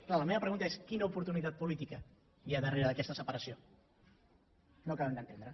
clar la meva pregunta és quina oportunitat política hi ha darrere d’aquesta separació no ho acabem d’entendre